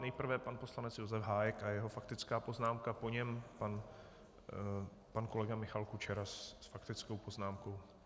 Nejprve pan poslanec Josef Hájek a jeho faktická poznámka, po něm pan kolega Michal Kučera s faktickou poznámkou.